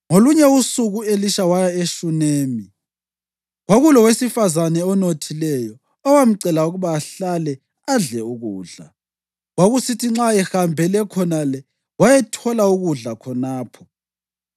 Ngolunye usuku u-Elisha waya eShunemi. Kwakulowesifazane onothileyo, owamcela ukuba ahlale adle ukudla. Kwakusithi nxa ehambele khonale wayethola ukudla khonapho.